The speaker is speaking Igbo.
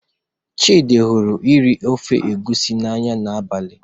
Chidị hụrụ iri ofe egusi n'anya n'abalị.